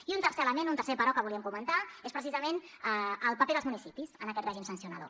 i un tercer element un tercer però que volíem comentar és precisament el paper dels municipis en aquest règim sancionador